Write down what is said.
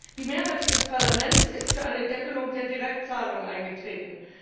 Die Mehrheit dieses Parlaments ist für eine Deckelung der Direktzahlungen eingetreten.